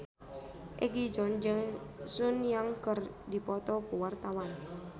Egi John jeung Sun Yang keur dipoto ku wartawan